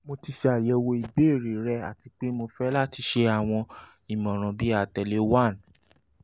mo ti ṣayẹwo ibeere rẹ ati pe mo fẹ lati ṣe awọn imọran bi atẹle one